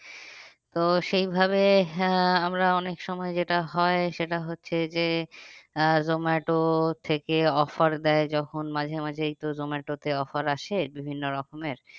তো সেই ভাবে আহ আমরা অনেক সময় যেটা হয় সেটা হচ্ছে যে আহ জোমাটো থেকে offer দেয় যখন মাঝে মাঝে এই তো জোমাটো তে offer আসে বিভিন্ন রকমের